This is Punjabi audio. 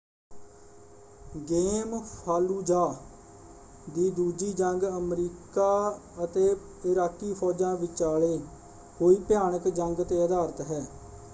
ਗੇਮ ਫਾਲੂਜ਼ਾਅ ਦੀ ਦੂਜੀ ਜੰਗ ਅਮਰੀਕਾ ਅਤੇ ਇਰਾਕੀ ਫੌਜਾਂ ਵਿਚਾਲੇ ਹੋਈ ਭਿਆਨਕ ਜੰਗ ‘ਤੇ ਆਧਾਰਿਤ ਹੈ।